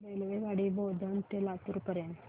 रेल्वेगाडी बोधन ते लातूर पर्यंत